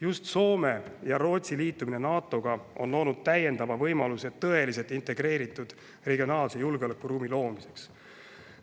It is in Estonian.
Just Soome ja Rootsi liitumine NATO-ga on loonud täiendava võimaluse tõeliselt integreeritud regionaalse julgeolekuruumi loomiseks.